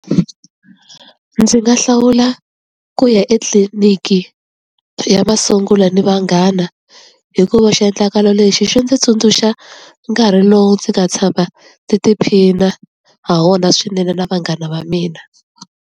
Ndzi nga hlawula ku ya etliliniki ya masungulo ni vanghana hikuva xiendlakalo lexi xi ndzi tsundzuxa nkarhi lowu ndzi nga tshama tiphina ha wona swinene na vanghana va mina.